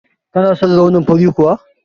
Kana son launin fari kuwa?